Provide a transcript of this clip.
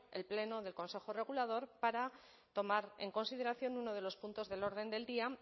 el pleno del consejo regulador para tomar en consideración uno de los puntos del orden del día